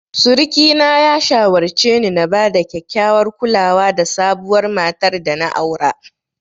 Suriki na ya shawarce ni na bada kyakkyawar kulawa da sabuwar matar dana aura.